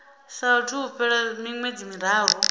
saathu u fhela miṅwedzi miraru